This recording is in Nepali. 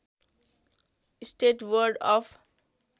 state board of